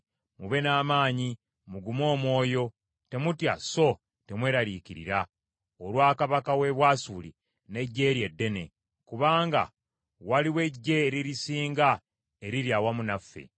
“Mube n’amaanyi, mugume omwoyo. Temutya so temwelariikirira olwa kabaka w’e Bwasuli n’eggye lye eddene, kubanga waliwo eggye eririsinga eriri awamu naffe.